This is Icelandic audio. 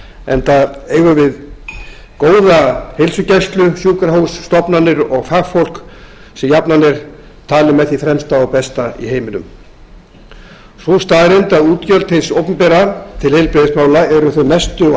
enda eigum við góða heilsugæslu sjúkrahús stofnanir og fagfólk sem jafnan er talið með því fremsta og besta í heiminum sú staðreynd að útgjöld hins opinbera til heilbrigðismála eru þau mestu og